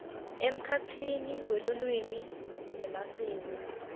emkhatsini welulwimi nemasiko